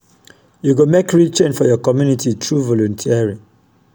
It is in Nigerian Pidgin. yu go mek real change for yur community thru volunteering.